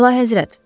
Əlahəzrət.